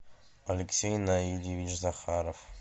алексей наильевич захаров